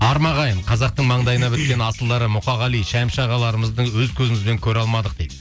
арма ағайын қазақтың маңдайына біткен асылдары мұқағали шәмші ағаларымызды өз көзімізбен көре алмадық дейді